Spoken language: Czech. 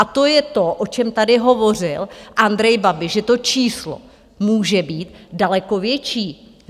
A to je to, o čem tady hovořil Andrej Babiš, že to číslo může být daleko větší.